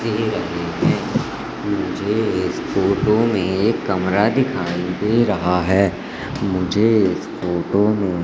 दे रहे हैं मुझे इस फोटो में एक कमरा दिखाई दे रहा है मुझे इस फोटो में--